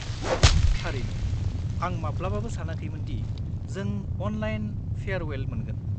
थारैनो, आं माब्लाबाबो सानाखैमोन दि जों अनलाइन फेयारवेल मोनगोन।